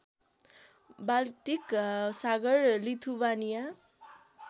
Baltic सागर Lithuania